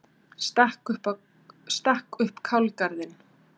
Stakk upp kálgarðinn.